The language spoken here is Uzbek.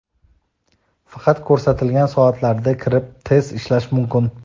Faqat ko‘rsatilgan soatlarda kirib test ishlash mumkin.